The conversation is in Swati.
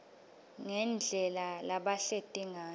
ngendlela labahleti ngayo